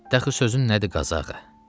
Dəxli sözün nədir Qazağı?